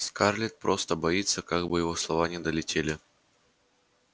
скарлетт конечно просто боится как бы его слова не долетели